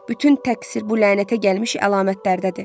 Bütün təqsir bu lənətə gəlmiş əlamətlərdədir.